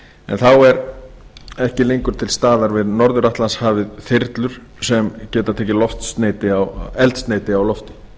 en þá eru ekki lengur til staðar við norður atlantshafið þyrlur sem geta tekið eldsneyti á lofti